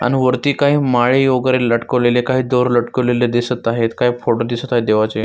अम वरती काही माळे वगैरे लटकवलेले काही दोर लटकवलेले दिसत आहेत काही फोटो दिसत आहे देवाचे.